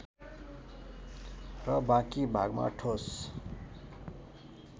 र बाँकी भागमा ठोस